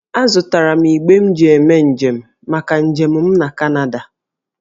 Azụtara m igbe m ji eme njem maka njem m na Kanada